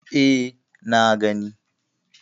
E, na gani.